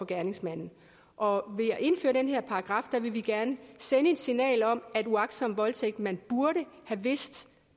gerningsmanden og ved at indføre den her paragraf vil vi gerne sende et signal om at uagtsom voldtægt man burde have vidst